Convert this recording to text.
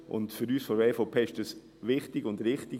Für uns von der EVP ist dies richtig und wichtig.